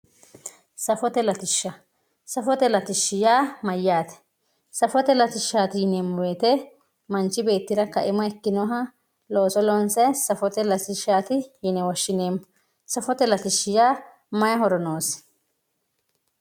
Safote latishsha, safote latishshi yaa mayyate, safote latishshati yineemmo woyte manchi beettira kaima ikkinoha looso loonsaniha safote latishshati yine woshshineemmo . safote latishshi yaa maayi horo noosi?